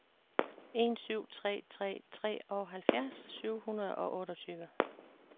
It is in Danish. en syv tre tre treoghalvfjerds syv hundrede og otteogtyve